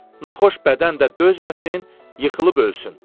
Naxoş bədən də dözməsin, yıxılıb ölsün.